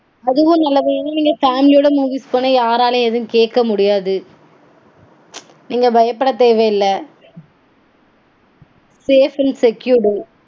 அதுவும் நல்லது. இதே நீங்க family ஓட movies போனா யாராலையும் எதுவும் கேக்க முடியாது. நீங்க பயப்பட தேவையில்ல. Safe and secured